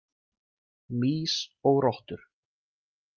„Mýs og rottur“.